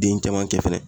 Den caman kɛ fɛnɛ